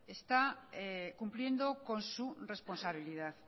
está cumpliendo con su responsabilidad